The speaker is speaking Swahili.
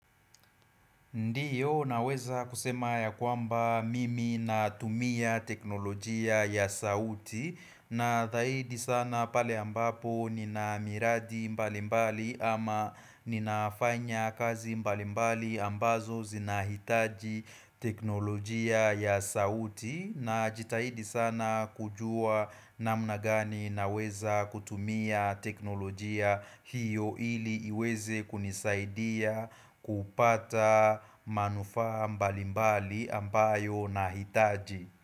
Ndiyo naweza kusema ya kwamba mimi natumia teknolojia ya sauti na thaidi sana pale ambapo nina miradi mbalimbali ama ninafanya kazi mbalimbali ambazo zinahitaji teknolojia ya sauti najitahidi sana kujua namna gani naweza kutumia teknolojia hiyo ili iweze kunisaidia kupata manufaa mbalimbali ambayo nahitaji.